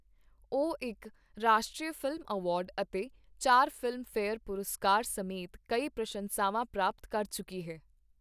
ਉਹ ਇੱਕ ਰਾਸ਼ਟਰੀ ਫ਼ਿਲਮ ਅਵਾਰਡ ਅਤੇ ਚਾਰ ਫ਼ਿਲਮ ਫੇਅਰ ਪੁਰਸਕਾਰ ਸਮੇਤ ਕਈ ਪ੍ਰਸ਼ੰਸਾਵਾਂ ਪ੍ਰਾਪਤ ਕਰ ਚੁੱਕੀ ਹੈ।